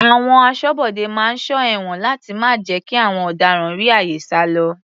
Àwọn aṣọ́bodè máa ń sọ ẹ̀wọ̀n láti má jẹ́ kí àwọn ọ̀daràn rí àyè sálọ.